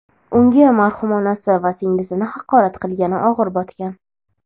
unga marhum onasi va singlisini haqorat qilgani og‘ir botgan.